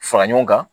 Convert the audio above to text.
Fara ɲɔgɔn kan